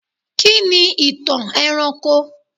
Kí ni ìtàn ẹranko?